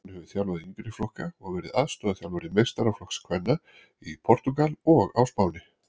Hún hefur þjálfað yngri flokka og verið aðstoðarþjálfari meistaraflokks kvenna í Portúgal og á Spáni.